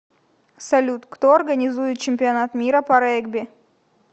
салют кто организует чемпионат мира по регби